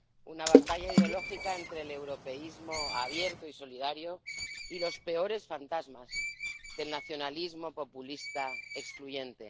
Una batalla ideológica entre el europeísmo abierto y solidario y los peores fantasmas del nacionalismo populista excluyente.